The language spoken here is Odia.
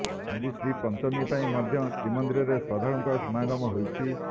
ଆଜି ଶ୍ରୀପଞ୍ଚମୀପାଇଁ ମଧ୍ୟ ଶ୍ରୀ ମନ୍ଦିରରେ ଶ୍ରଦ୍ଧାଳୁଙ୍କ ସମାଗମ ହୋଇଛି